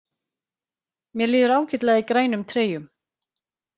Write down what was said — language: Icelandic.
Mér líður ágætlega í grænum treyjum.